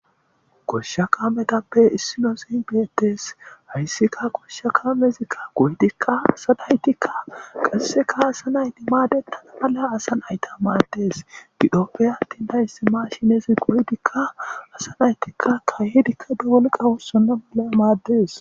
Goshsha kaametappe issino zibietes hayssikka goshsha kaamezikka goydikka asanaytikka qasseka hasanay dimaade tana mala asan ayta maades gidhoppe attin tayssi ma shinezi goydikka asanaytikka kayedikka dawolqawussonna mula maaddes.